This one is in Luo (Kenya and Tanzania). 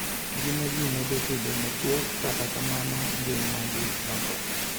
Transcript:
Ngima ji medo bedo machuok, kata kamano, ngimagi lokore.